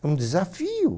É um desafio.